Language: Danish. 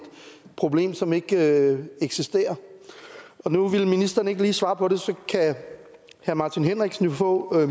problem som ikke eksisterer og nu ville ministeren ikke lige svare på det så kan herre martin henriksen jo få